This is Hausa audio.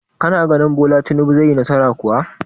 Kana tunanin Bola Tinubu zai yi nasara kuwa?